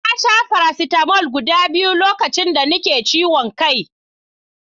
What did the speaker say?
Na sha faracetamol guɗa biyu lokacin da nake ciwon kai.